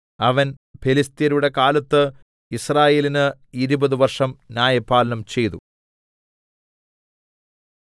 അവൻ ഫെലിസ്ത്യരുടെ കാലത്ത് യിസ്രായേലിന് ഇരുപത് വർഷം ന്യായപാലനം ചെയ്തു